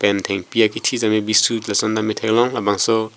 pen thengpi akethi sitame bisu lason tame theklong labangso--